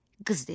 Qız dedi: